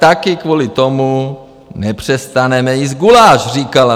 Taky kvůli tomu nepřestaneme jíst guláš, říkala.